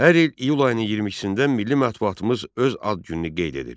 Hər il iyul ayının 22-də milli mətbuatımız öz ad gününü qeyd edir.